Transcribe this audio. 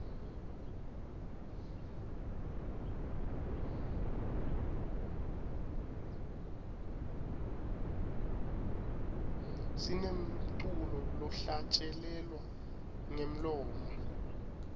sinemculo lohlatjelelwa ngemlomo